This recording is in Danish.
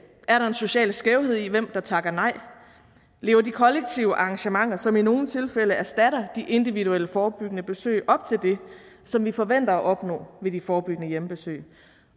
er der en social skævhed i hvem der takker nej lever de kollektive arrangementer som i nogle tilfælde erstatter de individuelle forebyggende besøg op til det som vi forventer at opnå ved de forebyggende hjemmebesøg